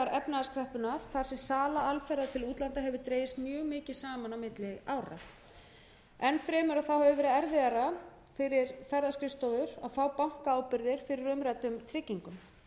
efnahagskreppunnar þar sem sala alferða til útlanda hefur dregist mjög mikið saman milli ára enn fremur hefur verið erfiðara fyrir ferðaskrifstofur að fá bankaábyrgðir fyrir umræddum tryggingum